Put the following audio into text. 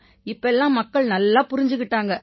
இப்ப எல்லாம் மக்கள் நல்லா புரிஞ்சுக்கிட்டாங்க